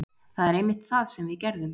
Það er einmitt það sem við gerðum.